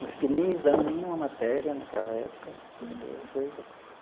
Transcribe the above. Não fiquei nem nenhuma matéria naquela época, entendeu? Eu fui.